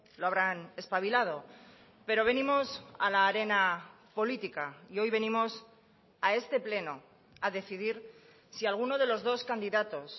lo habrán espabilado pero venimos a la arena política y hoy venimos a este pleno a decidir si alguno de los dos candidatos